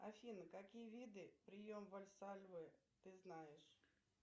афина какие виды прием вальсальвы ты знаешь